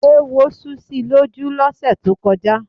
Éwo sú si lójú lọ́sẹ̀ tó kọjá.